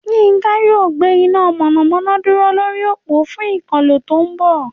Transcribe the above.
Yinka yóò gbé iná mọ̀nàmọ́ná dúró lórí òpó fún ìkọ́lé tó ń bọ̀